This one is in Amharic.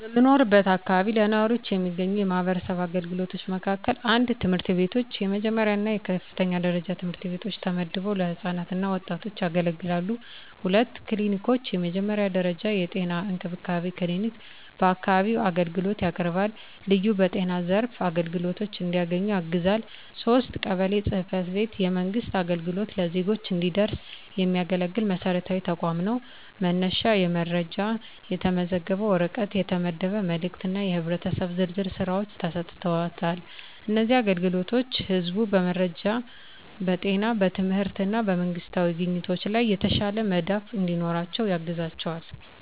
በምኖርበት አካባቢ ለነዋሪዎች የሚገኙ የማህበረሰብ አገልግሎቶች በመካከላቸው፣ 1. ትምህርት ቤቶች፣ የመጀመሪያ እና የከፍተኛ ደረጃ ትምህርት ቤቶች ተመድበው ለህፃናት እና ወጣቶች ያገለግላሉ። 2. ክሊኒኮች፣ የመጀመሪያ ደረጃ የጤና እንክብካቤ ክሊኒክ በአካባቢው አገልግሎት ያቀርባል፣ ልዩ በጤና ዘርፍ አግድዶች እንዲያገኙ ያግዛል። 3. ቀበሌ ጽ/ቤት፣ የመንግሥት አገልግሎት ለዜጎች እንዲደረስ የሚያገለግል መሰረታዊ ተቋም ነው፤ መነሻ የመረጃ፣ የተመዘገበ ወረቀት፣ የተመደበ መልእክት እና የህብረተሰብ ዝርዝር ሥራዎች ተሰጥተዋል። እነዚህ አገልግሎቶች ህዝቡ በመረጃ፣ በጤና፣ በትምህርት እና በመንግስታዊ አግኝቶች ላይ የተሻለ መዳፍ እንዲኖራቸው ያግዛቸዋል።